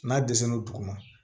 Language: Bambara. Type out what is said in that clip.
N'a dɛsɛ n'o dugu ma